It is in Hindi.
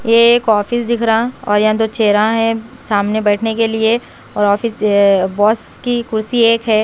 यह एक ऑफिस दिख रहा और यहाँ दो चेयरा है सामने बैठने के लिए और ऑफिस बॉस की कुर्सी एक है।